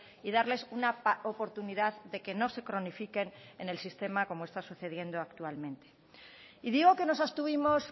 y darles una oportunidad de que no se cronifiquen en el sistema como está sucediendo actualmente y digo que nos abstuvimos